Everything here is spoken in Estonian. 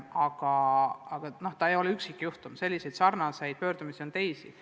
Aga see ei ole üksikjuhtum, selliseid pöördumisi on teisigi.